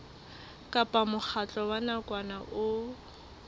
kapa mokgatlo wa nakwana o